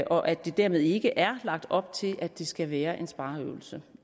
og at der dermed ikke er lagt op til at det skal være en spareøvelse